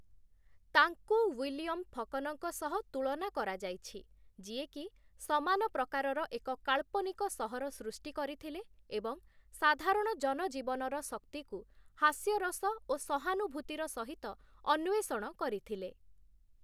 ତାଙ୍କୁ ୱିଲିୟମ୍ ଫକନଙ୍କ ସହ ତୁଳନା କରାଯାଇଛି, ଯିଏକି ସମାନ ପ୍ରକାରର ଏକ କାଳ୍ପନିକ ସହର ସୃଷ୍ଟି କରିଥିଲେ ଏବଂ ସାଧାରଣ ଜନଜୀବନର ଶକ୍ତିକୁ ହାସ୍ୟରସ ଓ ସହାନୁଭୂତିର ସହିତ ଅନ୍ୱେଷଣ କରିଥିଲେ ।